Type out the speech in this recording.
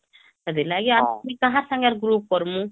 ହେଥିଲାଗି ମୁଇଁହମ୍କାହା ସାଙ୍ଗରେ group କରମୁଁ